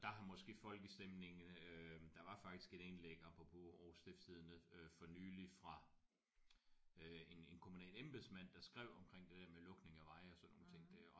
Der har måske folkestemningen øh der var faktisk et indlæg apropos Aarhus Stiftstidende øh for nyligt fra øh en en kommunal embedsmand der skrev omkring det der med lukning af veje og sådan nogle ting der